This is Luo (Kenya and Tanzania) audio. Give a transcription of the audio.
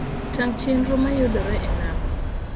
tang` chenro mayudore e namba